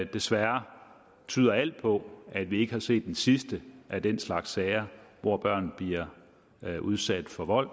desværre tyder alt på at vi ikke har set den sidste af den slags sager hvor børn bliver udsat for vold